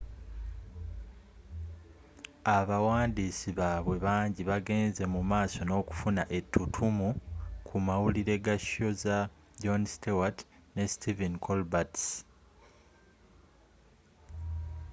abawandiis baabwe banji bagenze mumaaso nookufuna ettuttumu ku mawulire ga show za jon stewart ne stephen colbert's